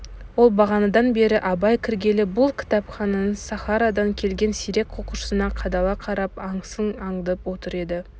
ол бағанадан бері абай кіргелі бұл кітапхананың сахарадан келген сирек оқушысына қадала қарап аңысын аңдып отыр еді